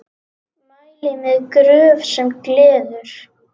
Mæli með Gröf sem gleður.